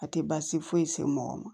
A tɛ baasi foyi se mɔgɔ ma